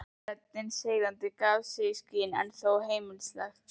Röddin seiðandi og gaf eitthvað í skyn, en þó heimilisleg.